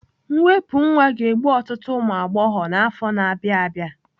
Mwepụ nwa ga-egbu ọtụtụ ụmụ agbọghọ n'afọ na-abịa abịa.